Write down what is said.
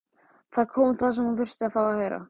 Þar kom það sem hún þurfti að fá að heyra.